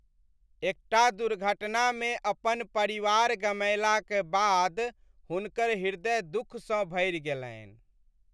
एकटा दुर्घटनामे अपन परिवार गमएलाक बाद हुनकर ह्रदय दुखसँ भरि गेलनि।